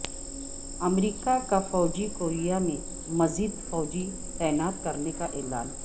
امریکہ کا جنوبی کوریا میں مزید فوجی تعینات کرنے کا اعلان